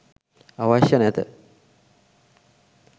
අවශ්‍ය නැත.